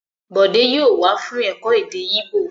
Bòdé yóò wá fún ẹ̀kọ́ èdè Íbò!